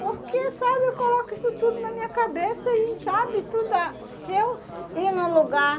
Porque, sabe, eu coloco isso tudo na minha cabeça e, sabe, tudo ah se eu ir num lugar